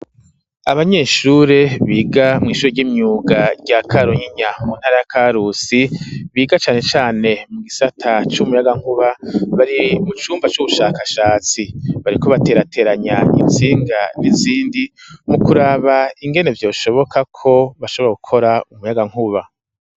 Abanyeshure biga mw'ishure ry'imyuga rya karunyinya muntara ya ka rusi biga cane cane mu gisata c'umuyagankuba bari mu cumba c'ubushakashatsi bari ko baterateranya insinga n'izindi mu kuraba ingene vyo shobokako bashobora gukora umuyagankuba.